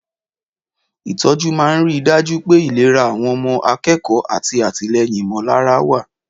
Ìtọ́jú máa ń rí i dájú pé ìlera àwọn akẹ́kọ̀ọ́ àti àtìlẹ́yìn ìmọ̀lára wà.